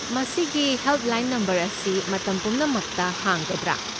ꯃꯁꯤꯒꯤ helpline number ꯑꯁꯤ ꯃꯇꯝ ꯄꯨꯝꯅꯃꯛꯇ ꯍꯥꯡꯒꯗ꯭ꯔꯥ?